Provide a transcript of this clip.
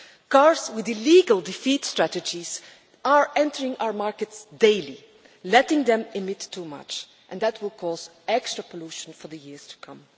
Cars with illegal defeat strategies are entering our markets daily, letting them emit too much, and that will cause extra pollution for the years to come.